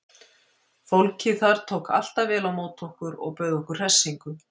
Fólkið þar tók alltaf vel á móti okkur og bauð okkur hressingu.